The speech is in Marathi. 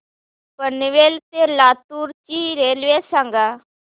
पनवेल ते लातूर ची रेल्वे सांगा